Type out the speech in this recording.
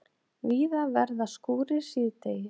Víða verða skúrir síðdegis